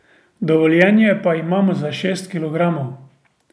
Dovoljenje pa imamo za šest kilogramov.